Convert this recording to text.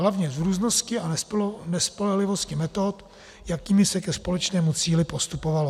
Hlavně z různosti a nespolehlivosti metod, jakými se ke společnému cíli postupovalo.